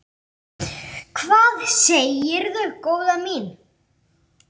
Hvað segirðu góða mín?